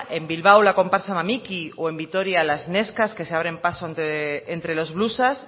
en bilbao la comparsa mamiki o en vitoria las neskas que se abren paso entre los blusas